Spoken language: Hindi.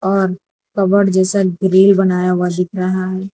और कबर्ड जैसा ग्रिल बनाया हुआ दिख रहा है।